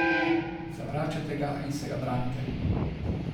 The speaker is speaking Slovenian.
Zavračate ga in se ga branite.